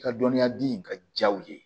I ka dɔnniya di ka ja u ye